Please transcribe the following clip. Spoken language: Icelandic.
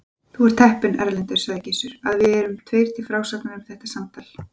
Þú ert heppinn, Erlendur, sagði Gizur, að við erum tveir til frásagnar um þetta samtal.